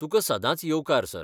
तुका सदांच येवकार, सर.